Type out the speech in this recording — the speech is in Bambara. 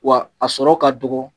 Wa a sɔrɔ ka dɔgɔ